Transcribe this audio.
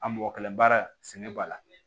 A mɔgɔ kɛlɛ baara sɛgɛn b'a la